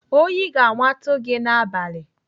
Oyi ga-amatu gị n'abalị!